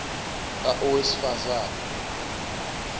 a owesifaz ane